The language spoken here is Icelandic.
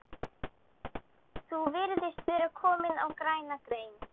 Þú virðist vera kominn á græna grein